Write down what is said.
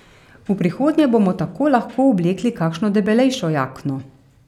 V prihodnje bomo tako lahko oblekli kakšno debelejšo jakno.